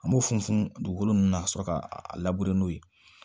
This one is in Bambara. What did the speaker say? An b'o funfun dugukolo min na ka sɔrɔ ka a labɛn n'o ye